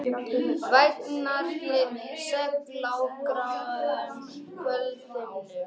Vængirnir segl á gáruðum kvöldhimninum.